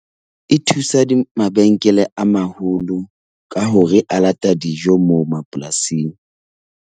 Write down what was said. E thusa mabenkele a maholo ka hore a lata dijo moo mapolasing.